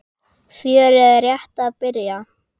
Fjörið er rétt að byrja.